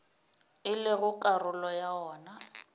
e lego karolo ya wona